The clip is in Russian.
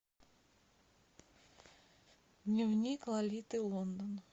дневник лолиты лондон